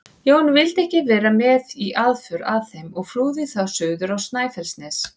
Jón vildi ekki vera með í aðför að þeim og flúði þá suður á Snæfellsnes.